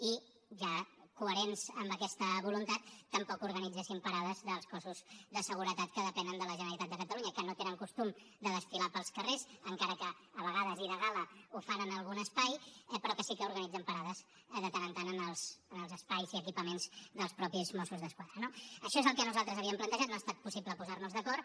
i ja coherents amb aquesta voluntat tampoc organitzessin parades dels cossos de seguretat que depenen de la generalitat de catalunya que no tenen costum de desfilar pels carrers encara que a vegades i de gala ho fan en algun espai però que sí que organitzen parades de tant en tant en els espais i equipaments dels mateixos mossos d’esquadra no això és el que nosaltres havíem plantejat no ha estat possible posar nos d’acord